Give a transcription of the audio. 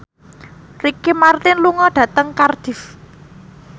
Ricky Martin lunga dhateng Cardiff